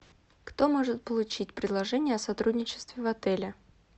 кто может получить предложение о сотрудничестве в отеле